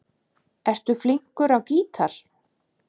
Ertu flinkur á gítar?